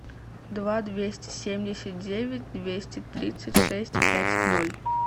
два двести семьдесят девять двести тридцать шесть пять ноль